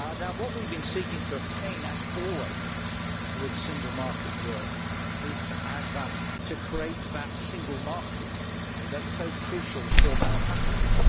What we have been seeking to obtain, as always with single market work, is to add value, to create that single market that is so crucial for manufacturers.